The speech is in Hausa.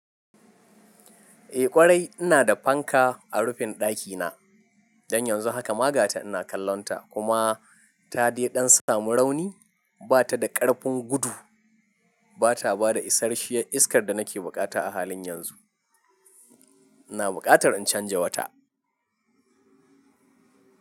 Eh ƙwarai ina da fanka a rufin ɗakina, don yanzu hakama gata ina kallonta, kuma ta dai ɗan samu rauni, bata da ƙarfin gudu, bataba da isarshiyar iskar da nake buƙata a halin yanzu. Ina buƙatar in canza wata.